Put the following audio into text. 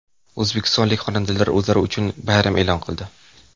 O‘zbekistonlik xonandalar o‘zlari uchun bayram e’lon qildi.